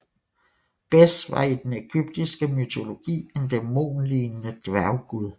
Bes var i den ægyptiske mytologi en dæmonlignende dværggud